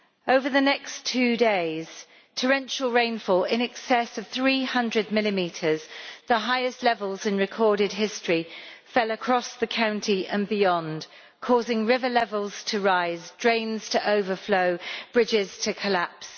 Over the next two days torrential rainfall in excess of 300 millimetres, the highest levels in recorded history, fell across the county and beyond, causing river levels to rise, drains to overflow, bridges to collapse.